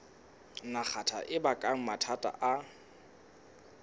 nagata e baka mathata a